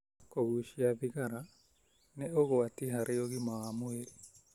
Kũgucia thigagara ni ũgwati harĩ ũgima wa mwĩrĩ